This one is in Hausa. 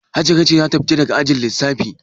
Hajara ce za ta fita daga ajin lissafi.